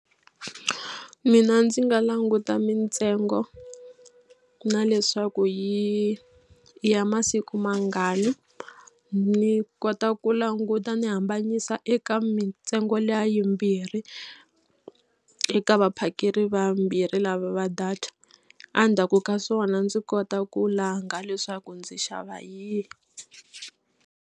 Mina ndzi nga languta mintsengo na leswaku yi ya masiku mangani ni kota ku languta ni hambanyisa eka mintsengo liya yimbirhi eka vaphakeri vambirhi lava data. Endzhaku ka swona ndzi kota ku langa leswaku ndzi xava yihi.